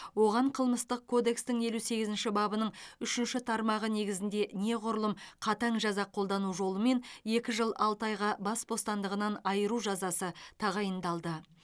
оған қылмыстық кодекстің елу сегізінші бабының үшінші тармағы негізінде неғұрлым қатаң жаза қолдану жолымен екі жыл алты айға бас бостандығынан айыру жазасы тағайындалды